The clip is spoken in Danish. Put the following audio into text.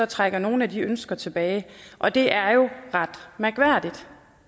trækker nogle af de ønsker tilbage og det er ret mærkværdigt